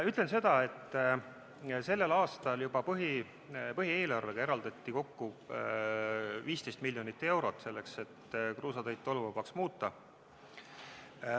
Ütlen seda, et sellel aastal juba põhieelarvega eraldati kokku 15 miljonit eurot selleks, et kruusateid tolmuvabaks muuta.